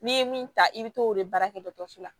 N'i ye min ta i bɛ t'o de baara kɛ dɔgɔtɔrɔso la